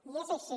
i és així